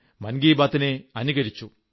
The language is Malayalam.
മൻ കീ ബാത്തിനെ അനുകരിച്ചു